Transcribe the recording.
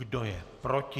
Kdo je proti?